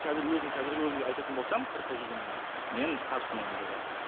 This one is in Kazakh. қазір өзім қазіргі өзім деп айтатын болсам қырыққа келгенде емес мен қарсымын ондайға